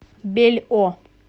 бельо